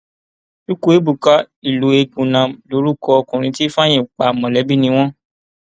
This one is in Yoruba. chukwuebuka iloegbunam lorúkọ ọkùnrin tí ifeanyi pa mọlẹbí ni wọn